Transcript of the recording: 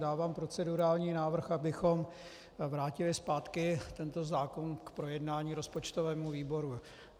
Dávám procedurální návrh, abychom vrátili zpátky tento zákon k projednání rozpočtovému výboru.